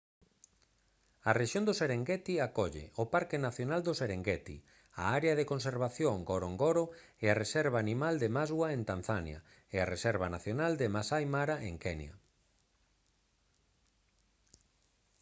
a rexión do serengeti acolle o parque nacional do serengeti a área de conservación de ngorongoro e a reserva animal de maswa en tanzania e a reserva nacional de maasai mara en kenya